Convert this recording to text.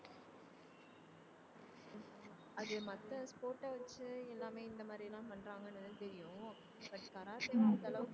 அது மத்த sport வச்சு எல்லாமே இந்த மாதிரி எல்லாம் பண்றாங்கன்னு தெரியும் but கராத்தேலாம் அந்த அளவுக்கு